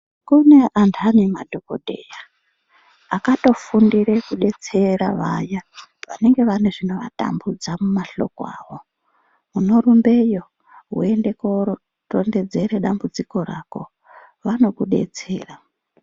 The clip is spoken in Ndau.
Kune antani madhokodheya akatofundire kudetsera vaya vanonge vane zvinovatambudza mumahloko awo, unorumbeyo woende koorondedzere dambudziko rako vanokudetsera.